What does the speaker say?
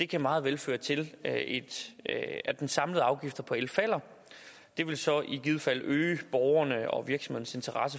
kan meget vel føre til at den samlede afgift på el falder det vil så i givet fald øge borgernes og interesse